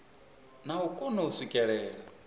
na u kona u swikelela